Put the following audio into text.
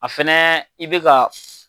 A fɛnɛ i be ka